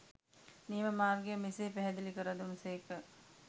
නියම මාර්ගය මෙසේ පැහැදිලි කර දුන් සේක.